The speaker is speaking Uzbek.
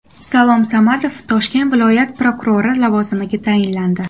Salom Samadov Toshkent viloyat prokurori lavozimiga tayinlandi.